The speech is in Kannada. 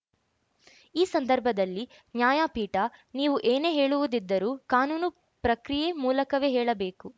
ಈ ಸಂದರ್ಭದಲ್ಲಿ ನ್ಯಾಯಪೀಠ ನೀವು ಏನೇ ಹೇಳುವುದಿದ್ದರೂ ಕಾನೂನು ಪ್ರಕ್ರಿಯೆ ಮೂಲಕವೇ ಹೇಳಬೇಕು